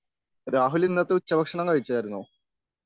രാഹുലിന്നത്തെ ഉച്ച ഭക്ഷണം കഴിച്ചായിരുന്നോ?